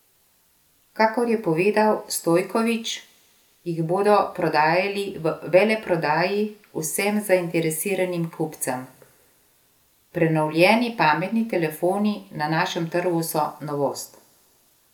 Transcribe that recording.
Kakor je povedal Stojković, jih bodo prodajali v veleprodaji vsem zainteresiranim kupcem: 'Prenovljeni pametni telefoni na našem trgu so novost.